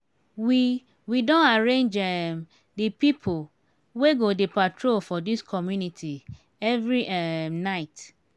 we we don arrange um di pipo wey go dey patrol for dis community every um night.